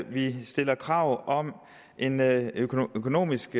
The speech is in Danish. vi stiller krav om en økonomisk